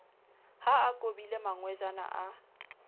ha a kobile mangwejana a